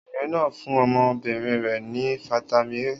Obìnrin náà fún ọmọbìnrin rẹ̀ ní fataímìn A.